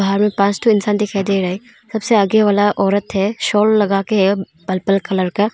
बाहर में पांच ठो इंसान दिखाई दे रहा है सबसे आगे वाला औरत है साल लगाके है पर्पल कलर का।